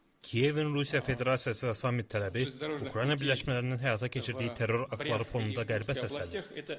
Kiyevin Rusiya Federasiyası və samit tələbi Ukrayna birləşmələrinin həyata keçirdiyi terror aktları fonunda Qərbə səslənir.